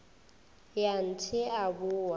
ya th e a boa